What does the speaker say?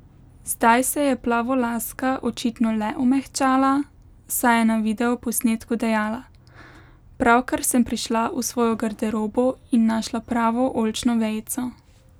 Zdaj se je plavolaska očitno le omehčala, saj je na videoposnetku dejala: "Pravkar sem prišla v svojo garderobo in našla pravo oljčno vejico.